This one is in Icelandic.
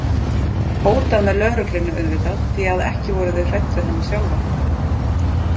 Hótað með lögreglunni auðvitað því að ekki voru þau hrædd við hana sjálfa.